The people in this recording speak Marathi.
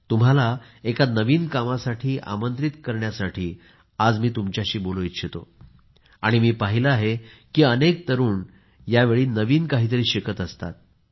तुम्हाला एका नविन कामासाठी आमंत्रित करण्यासाठी आज मी तुमच्याशी बोलू इच्छितो आणि मी पाहिले आहे की अनेक तरुण यावेळी नवीन काहीतरी शिकत असतात